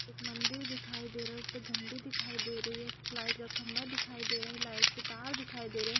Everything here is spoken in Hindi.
एक मंदिर दिखाई दे रहा है उसपे झंडे दिखाई दे रहे है लाइट का खंभा दिखाई दे रहा है लाइट के तार दिखाई दे रहे।